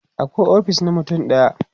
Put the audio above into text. akwai ofis na mutum ɗaya